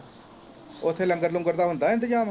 ਉਥੇ ਲੰਗਰ ਲੁੰਗਰ ਦਾ ਹੁੰਦਾ ਇੰਤਜਾਮ